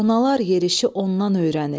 Sonalar yerişi ondan öyrənib.